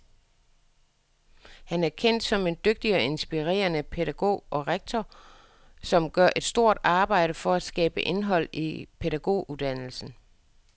Han er kendt som en dygtig og inspirerende pædagog og rektor, som gør et stort arbejde for at skabe indhold i pædagoguddannelsen.